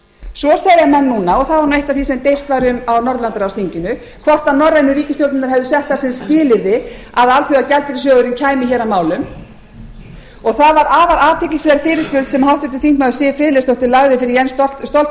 svo segja menn núna og það var eitt af því sem deilt var um á norðurlandaráðsþinginu hvort norrænu ríkisstjórnirnar hefðu sett það sem skilyrði að alþjóðagjaldeyrissjóðurinn kæmi að málum og það var afar athyglisverð fyrirspurn sem háttvirtur þingmaður siv friðleifsdóttir lagði fyrir jens stoltenberg